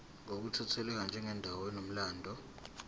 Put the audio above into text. ngokukhethekile njengendawo enomlando